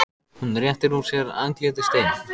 Hún réttir úr sér, andlitið steinn.